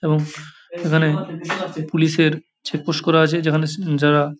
এবং এখানে পুলিশ -এর চেকপোস্ট করা আছে যেখানে স যারা ।